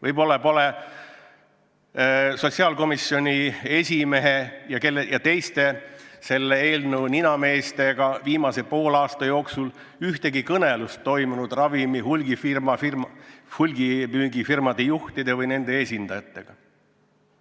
Võib-olla pole sotsiaalkomisjoni esimehel ja teistel selle eelnõu ninameestel viimase poole aasta jooksul toimunud ühtegi kõnelust ravimite hulgimüügi firmade juhtide või nende esindajatega.